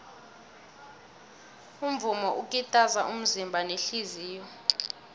umvumo ukitaza umzimba nehliziyo